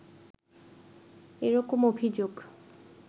এরকম অভিযোগ